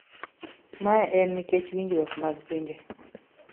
mae en nikech winjruok mag pinje